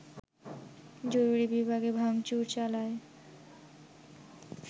জরুরি বিভাগে ভাংচুর চালায়